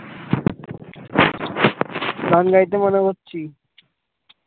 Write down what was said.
গান গাইতে মানা করছি